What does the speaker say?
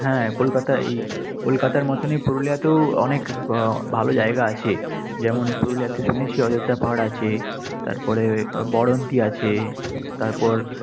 হ্যাঁ কলকাতা এই কলকাতার মতোনই পুরুলিয়াতেও অনেক ভালো জায়গা আছে। যেমন পুরুলিয়াতে শুনেছি অজন্তা পাহাড় আছে, তারপরে বরন্তি আছে, তারপর